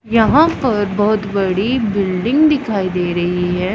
यहां पर बहुत बड़ी बिल्डिंग दिखाई दे रही है।